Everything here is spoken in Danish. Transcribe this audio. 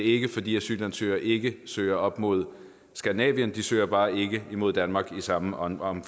ikke fordi asylansøgere ikke søger op mod skandinavien de søger bare ikke imod danmark i samme omfang